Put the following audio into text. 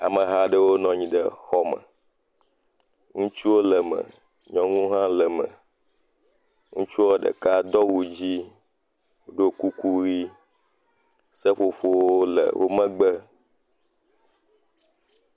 Ameha aɖewo nɔ anyi ɖe xɔ me, ŋutsuwo le me, nyɔnuwo hã le me. Ŋutsua ɖeka do awu dzɛ̃, ɖɔ kuku ʋɛ̃. Seƒoƒowo le wo megbe.